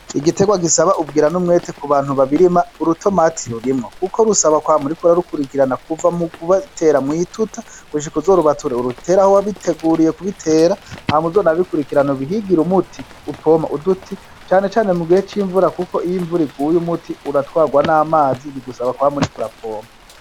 Igiterwa gisaba ubwira n'umwete ku bantu babirima, urutomati rurimwo kuko rusaba kwama uriko urarukurikirana kuva mu kurutera mwituta gushika uzo rubature urutere aho wabiteguriye kubitera hama uzo nabikurikirane ubihigire umuti upoma uduti cane cane mu gihe c'imvura kuko iyo imvura iguye uratwarwa n'amazi bigusaba kwama uriko urapoma.